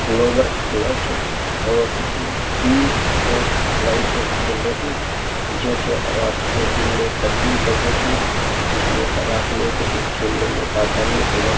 Lower black है और इसमें तीन स्ट्रेट लाइटें जल रही है जो कि रात को दिन में तब्दील कर देती हैं इसमें रात में क्रिकेट खेलने में आसानी हो जाती है।